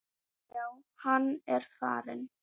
Já, hann er farinn